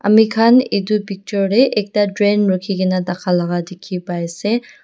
amikhan edu picture tae ekta train rukhikae na thaka laka dikhi paiase.